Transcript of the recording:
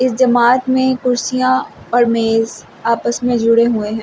इस जमात में कुर्सियां और मेज आपस में जुड़े हुए हैं।